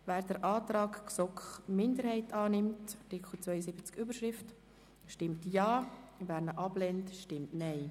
Wer den Antrag der GSoK-Minderheit zu Artikel 72, Überschrift, annimmt, stimmt Ja, wer diesen ablehnt, stimmt Nein.